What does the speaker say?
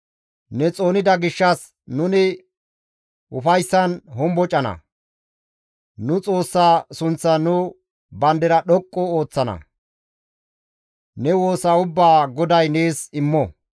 Ne xoonida gishshas nuni ufayssan hombocana; nu Xoossa sunththan nu bandira dhoqqu ooththana; ne woosa ubbaa GODAY nees immo.